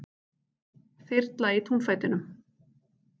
Þyrla í túnfætinum